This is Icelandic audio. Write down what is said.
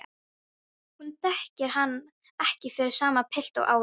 Hún þekkir hann ekki fyrir sama pilt og áður.